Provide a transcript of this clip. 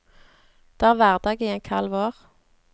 Det er hverdag i en kald vår.